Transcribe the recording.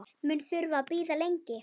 Mun þurfa að bíða lengi.